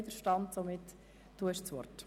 – Dies scheint der Fall zu sein.